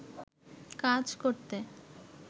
কাজ করতে